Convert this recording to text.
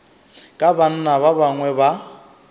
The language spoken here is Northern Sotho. ka banna ba bangwe ba